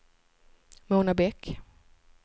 Mona Bäck